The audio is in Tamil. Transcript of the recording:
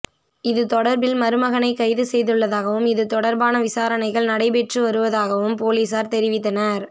இது தொடர்பில் மருமகனை கைதுசெய்துள்ளதாகவும் இது தொடர்பான விசாரணைகள் நடைபெற்றுவருவதாகவும் பொலிஸார் தெரிவித்தனர்